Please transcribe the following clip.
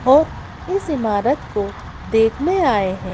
और इस इमारत को देखने आए हैं।